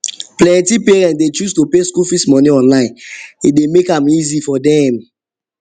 plenty parents dey choose to pay school fees money online e dey make am easy for dem